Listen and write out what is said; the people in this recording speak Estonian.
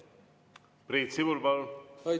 Priit Sibul, palun!